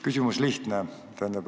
Küsimus on lihtne.